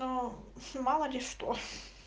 то мало ли что